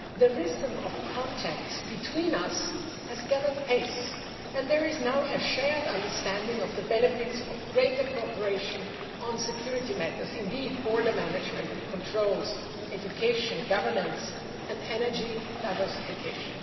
The rhythm of contacts between us has gathered pace, and there is now a shared understanding of the benefits of greater cooperation on security matters, border management and controls, education, governance and energy diversification.